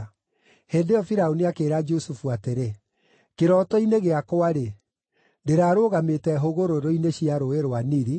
Hĩndĩ ĩyo Firaũni akĩĩra Jusufu atĩrĩ, “Kĩroto-inĩ gĩakwa-rĩ, ndĩrarũgamĩte hũgũrũrũ-inĩ cia Rũũĩ rwa Nili,